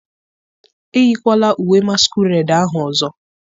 eyikwala uwe masquerade ahụ ọzọ!